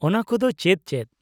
ᱚᱱᱟᱠᱚᱫᱚ ᱪᱮᱫ ᱪᱮᱫ ?